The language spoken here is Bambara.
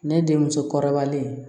Ne den muso kɔrɔbalen